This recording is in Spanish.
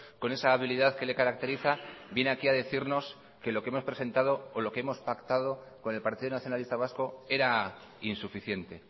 con esa habilidad que le caracteriza viene aquí a decirnos que lo hemos presentado o lo que hemos pactado con el partido nacionalista vasco era insuficiente